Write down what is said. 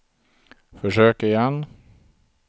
försök igen